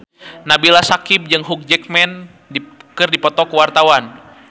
Nabila Syakieb jeung Hugh Jackman keur dipoto ku wartawan